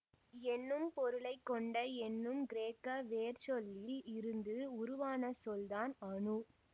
என்னும் பொருளை கொண்ட என்னும் கிரேக்க வேர்ச்சொல்லில் இருந்து உருவான சொல் தான் அணு